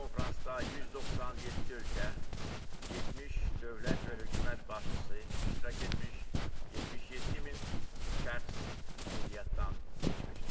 Bu konfransda 197 ölkə, 70 dövlət və hökumət başçısı iştirak etmiş, 77 min şəxs qeydiyyatdan keçmişdir.